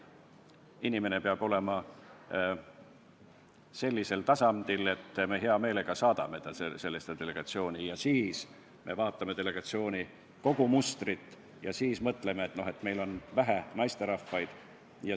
Inimene peab olema sellisel tasemel, et me hea meelega saadame ta sinna, ja siis vaatame delegatsiooni kogumustrit ja mõtleme, et aga meil on seal vähe naisterahvaid.